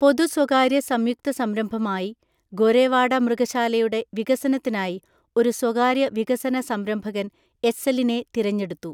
പൊതു സ്വകാര്യ സംയുക്ത സംരംഭമായി ഗോരെവാഡ മൃഗശാലയുടെ വികസനത്തിനായി ഒരു സ്വകാര്യ വികസനസംരംഭകന്‍ എസ്സലിനെ തിരഞ്ഞെടുത്തു.